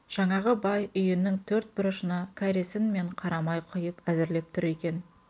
жаңағы бай үйінің төрт бұрышына кәресін мен қарамай құйып әзірлеп тұр екен